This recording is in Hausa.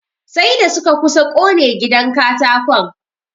Sai da suka kusa ƙone gidan katakon.